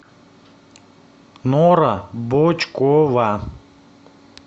нора бочкова